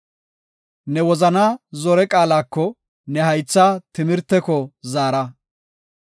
Ne wozanaa zore qaalako, ne haytha timirteko zaara.